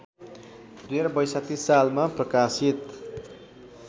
२०६२ सालमा प्रकाशित